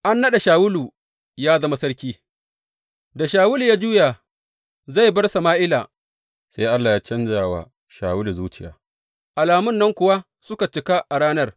A naɗa Shawulu ya zama sarki Da Shawulu ya juya zai bar Sama’ila, sai Allah ya canja wa Shawulu zuciya, alamun nan kuwa suka cika a ranar.